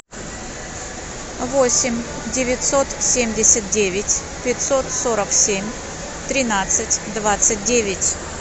восемь девятьсот семьдесят девять пятьсот сорок семь тринадцать двадцать девять